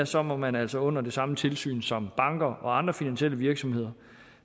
så må man altså under det samme tilsyn som banker og andre finansielle virksomheder